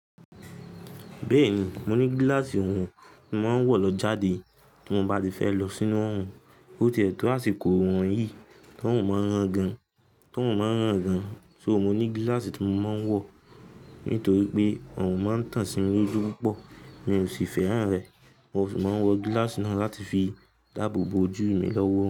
Bẹ́ẹ̀ni, mo ní gíláàsì ohun mo máa ń wọ̀ lọ jáde tí mo bá ti fẹ́ lọ sínú òhún. Ó ti ẹ̀ tó àsìkò wọ̀nyí tó òrún máa ń ràn gan, tó òrún máa ń ràn gan. So mo ní gíláàsì tí mo máa ń wọ̀ nítorí pé òrún máa ń tàn sí mi ojú púpọ̀. Mi ò sì fẹ́ràn rẹ̀. Mo sì máa ń wọ gíláàsì náà láti fi dáàbò bo ojú mi lọ́wọ́